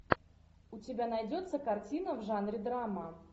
у тебя найдется картина в жанре драма